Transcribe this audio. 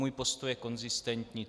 Můj postoj je konzistentní.